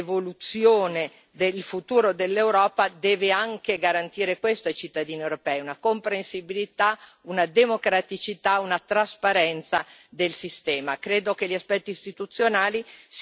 E naturalmente l'evoluzione del futuro dell'Europa deve anche garantire questo ai cittadini europei una comprensibilità, una democraticità, una trasparenza del sistema.